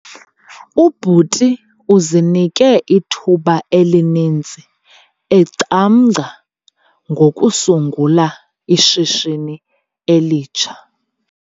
Ubhuti uzinike ithuba elininzi ecamngca ngokusungula ishishini elitsha.